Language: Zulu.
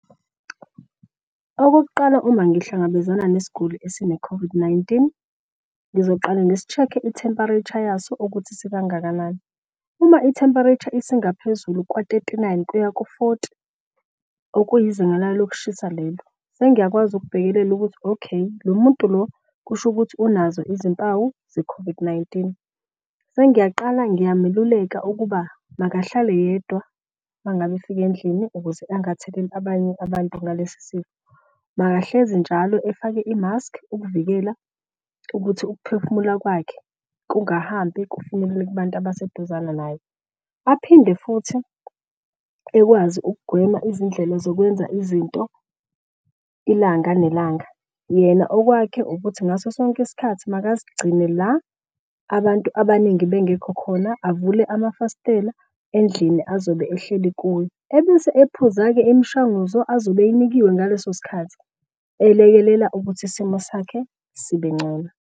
Okokuqala uma ngihlangabezana nesiguli esine-COVID-19, ngizoqala ngisi-check-e i-temperature yaso ukuthi sikangakanani. Uma i-temperature esingaphezulu kwa-thirty nine kuya ku-forty okuyizinga layo lokushisa lelo. Sengiyakwazi ukubhekelela ukuthi, okay lo muntu lo kusho ukuthi unazo izimpawu ze-COVID-19. Sengiyaqala ngingameluleka ukuba makahlale yedwa mangabe efika endlini ukuze angatheleli abanye abantu ngalesi sifo. Makahlezi njalo efake i-mask ukuvikela ukuthi ukuphefumula kwakhe kungahambi kufinyelele kubantu abaseduzane naye. Aphinde futhi ekwazi ukugwema izindlela zokwenza izinto ilanga nelanga. Yena okwakhe ukuthi ngaso sonke isikhathi makazigcine la abantu abaningi bengekho khona, avule amafasitela endlini azobe ehleli kuyo. Ebese ephuza-ke imishanguzo azobe eyinikiwe ngaleso sikhathi elekelela ukuthi isimo sakhe sibengcono.